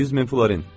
100 min florin.